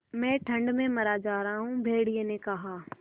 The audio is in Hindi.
मैं ठंड में मरा जा रहा हूँ भेड़िये ने कहा